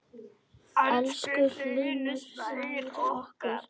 Elsku Hlynur Snær okkar.